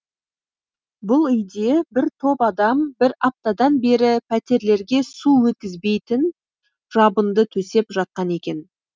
бұл үйде бір топ адам бір аптадан бері пәтерлерге су өткізбейтін жабынды төсеп жатқан екен